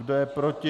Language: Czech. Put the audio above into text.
Kdo je proti?